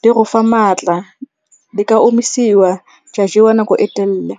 di go fa maatla. Di ka omisiwa tsa jewa nako e telele.